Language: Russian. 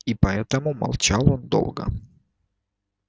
и поэтому молчал он долго